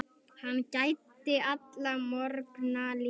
Hann gæddi alla morgna lífi.